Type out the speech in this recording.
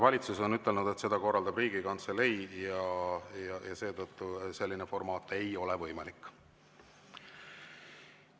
Valitsus on ütelnud, et seda korraldab Riigikantselei, ja seetõttu selline formaat ei ole võimalik.